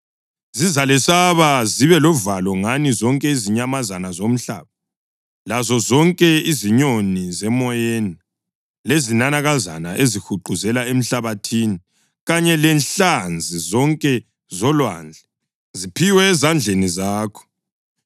Zizalesaba zibe lovalo ngani zonke izinyamazana zomhlaba, lazozonke izinyoni zemoyeni, lezinanakazana ezihuquzela emhlabathini, kanye lenhlanzi zonke zolwandle; ziphiwe ezandleni zakho.